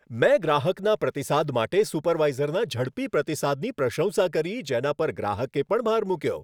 મેં ગ્રાહકના પ્રતિસાદ માટે સુપરવાઈઝરના ઝડપી પ્રતિસાદની પ્રશંસા કરી જેના પર ગ્રાહકે પણ ભાર મૂક્યો.